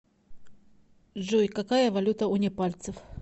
джой какая валюта у непальцев